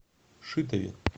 шитове